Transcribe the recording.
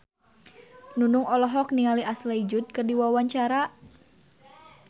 Nunung olohok ningali Ashley Judd keur diwawancara